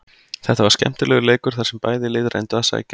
Þetta var skemmtilegur leikur þar sem bæði lið reyndu að sækja.